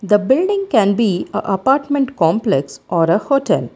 the building can be a apartment complex or a hotel.